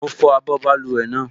Mo fọ abọ́ báluwẹ̀ náà